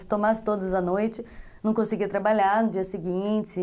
Se tomasse todas à noite, não conseguia trabalhar no dia seguinte.